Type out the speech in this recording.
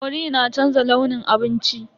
Cori na canza launin abinci.